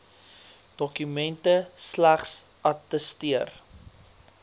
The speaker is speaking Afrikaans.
dokumente slegs attesteer